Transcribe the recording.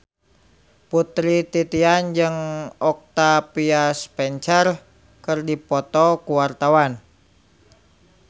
Putri Titian jeung Octavia Spencer keur dipoto ku wartawan